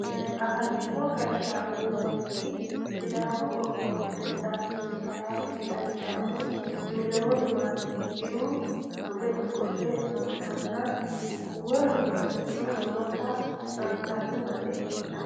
afantino gashshaano yinanniri sidaamu qoqqowi perezidaantichi kalaa desta ledamohu miliyooni matewoosihu mule ofolle nootanna wolu mannino noota anfanni baseeti yaate